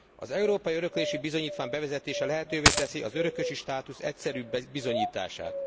Az európai öröklési bizonyítvány bevezetése lehetővé teszi az örökösi státusz egyszerűbb bizonyítását.